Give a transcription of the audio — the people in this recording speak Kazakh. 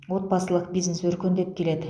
отбасылық бизнес өркендеп келеді